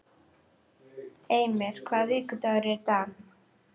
Emir, hvaða vikudagur er í dag?